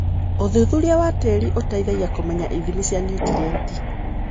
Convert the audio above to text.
ũthuthuria wa tĩri ũteithagia kũmenya ithimi cia nutrienti.